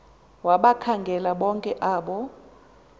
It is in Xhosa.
wabakhangela bonke abo